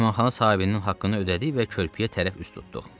Mehmanxana sahibinin haqqını ödədi və körpüyə tərəf üz tutduq.